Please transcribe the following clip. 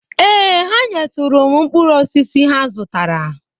Ee, ha nyetụrụ m mkpụrụosisi ha zụtara